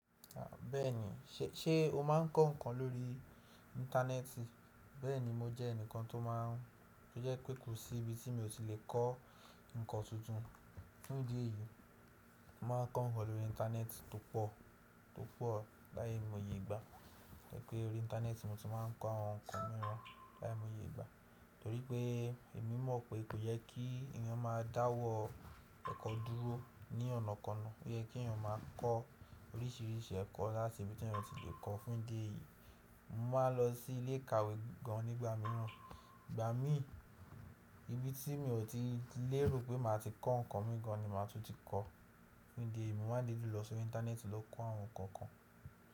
Bẹ́ẹ̀ni, ṣé o máa ń kọ́ nǹkan lórí Íńtánẹ́ẹ̀tì? Bẹ́ẹ̀ni, mo jẹ́ ẹnìkan tó máa ń, tó jẹ́ pé kò sí ibi tí mi ò tí lè kọ́ nǹkan tuntun. Fún ìdí èyí, mo máa ń kọ́ nǹkan lórí Íńtánẹ́ẹ̀tì tó pọ̀, tó pọ̀ lái mò yè ìgbà. Torí pé orí Íńtánẹ́ẹ̀tì mo ti máa ń kọ́ àwọn nǹkan mìíràn lái moyè ìgbà. Torí pé èmi mọ̀ pé kò yẹ kí èèyàn máa dáwọ́ ẹ̀kọ́ dúró ní ọ̀nà ko náà. Ó yẹ kí èèyàn máa kọ́ oríṣìíríṣìí ẹ̀kọ́ láti ibi tí ẹeyan tí lè kọ́. Fún ìdí èyí, mo máa ń lọ sí ilé ìkàwé gan nígbà mìíràn. Ìgbà mí, ibi tí mi ò tí lè rò pé màá ti kọ́ nǹkan mìí gán ni màá tún ti kọ́. Fún ìdí èyí, mo maá n didi lọ sí orí Íńtánẹ́ẹ̀tì ló kọ́ àwọn nǹkan kan.